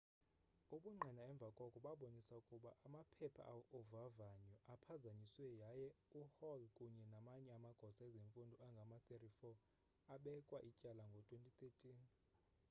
ubungqina emva koko babonisa ukuba amaphepha ovavanyo aphazanyiswe yaye uhall kunye namanye amagosa ezemfundo angama-34 abekwa ityala ngo-2013